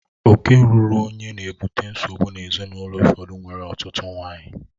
Oke ruuru onye na-ebute nsogbu n'ezinaụlọ ụfọdụ nwere ọtụtụ nwanyị